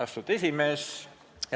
Austatud esimees!